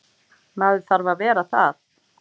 Maður þarf að vera það.